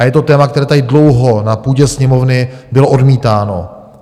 A je to téma, které tady dlouho na půdě Sněmovny bylo odmítáno.